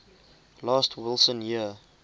last wilson year